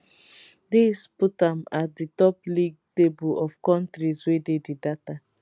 dis put am at di top league table of kontris wey dey di data